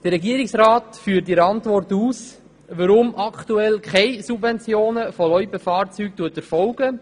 Der Regierungsrat führt in seiner Antwort aus, weshalb aktuell keine Subventionen von Loipenfahrzeugen erfolgen.